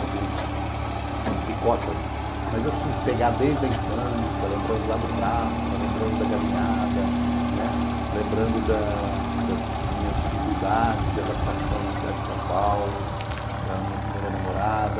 Alguns picotam, mas assim, pegar dez da infância, lembrando lá do Prata, lembrando da galinhada, né, lembrando das minhas dificuldades de adaptação na cidade de São Paulo, da minha primeira namorada,